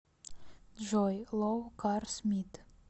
джой лоу карс мит